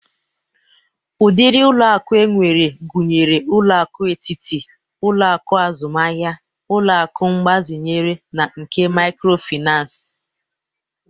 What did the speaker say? Ụdịrị ụlọ akụ enwere gụnyere ụlọ akụ etiti, ụlọ akụ azụmahia, ụlọ akụ mgbazinye na nke mikrofinans.